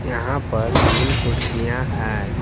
यहां पर तीन कुर्सियां हैं।